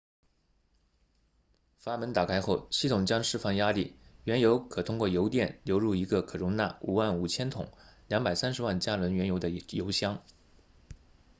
阀门打开后系统将释放压力原油可通过油垫流入一个可容纳55000桶230万加仑原油的油箱